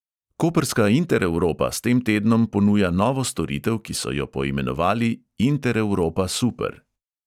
Koprska intereuropa s tem tednom ponuja novo storitev, ki so jo poimenovali intereuropa super.